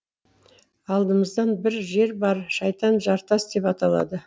алдымызда бір жер бар шайтан жартас деп аталады